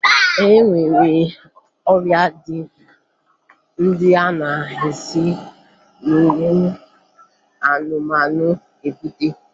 E nwere ọrịa ndị a na-esi n'ụmụ anụmanụ ebute